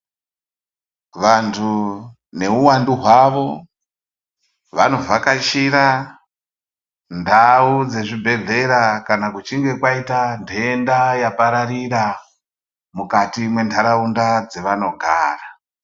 Vantu neuwandu hwavo vanovhakachira ndau dzezvibhehlera kana kuchinge kwaita nde nda yapararira mukati mwentaraunda dzevanogara.